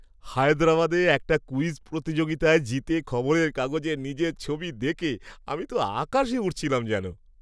হায়দ্রাবাদে একটা ক্যুইজ প্রতিযোগিতায় জিতে খবরের কাগজে নিজের ছবি দেখে আমি তো আকাশে উড়ছিলাম যেন!